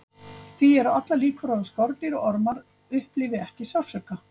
því eru allar líkur á að skordýr og ormar upplifi ekki sársauka